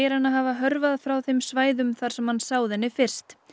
hana hafa hörfað frá þeim svæðum þar sem hann sáði henni fyrst